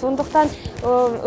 сондықтан